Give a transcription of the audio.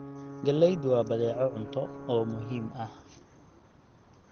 Galleydu waa badeeco cunto oo muhiim ah.